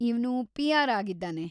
ಇವ್ನು ಪಿ.ಆರ್.‌ ಆಗಿದ್ದಾನೆ.